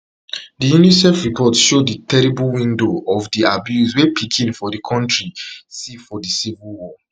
di unicef report show di terrible window of di abuse wey pikin for di kontri see for di civil war